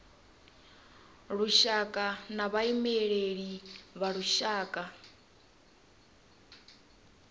lushaka na vhaimeleli vha lushaka